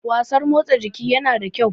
wasan motsa jiki yana da kyau